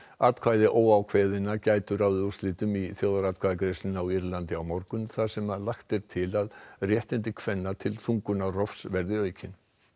atkvæði óákveðinna gætu ráðið úrslitum í þjóðaratkvæðagreiðslunni á Írlandi á morgun þar sem lagt er til að réttindi kvenna til þungunarrofs verði aukin